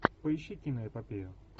поищи киноэпопею